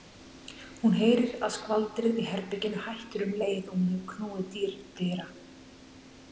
Hún heyrir að skvaldrið í herberginu hættir um leið og hún hefur knúið dyra.